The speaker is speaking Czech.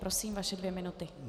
Prosím, vaše dvě minuty.